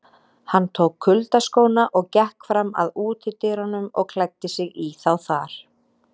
Hann tók kuyldaskóna og gekk fram að útidyrunum og klæddi sig í þá þar.